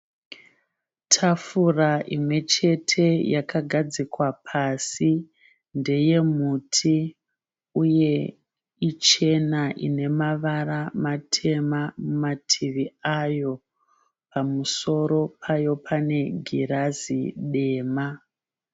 Tafura imwe chete yakagadzikwa pasi ndeye muti uye ichena ine matema kumativi pamusoro payo pane girazi dema.